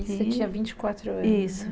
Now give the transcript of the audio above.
E você tinha vinte anos? isso.